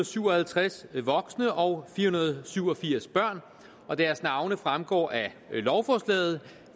syv og halvtreds voksne og fire hundrede og syv og firs børn og deres navne fremgår af lovforslaget